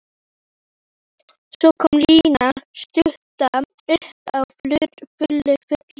Svo kom Lína stutta upp á fullri ferð.